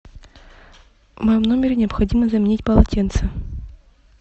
в моем номере необходимо заменить полотенце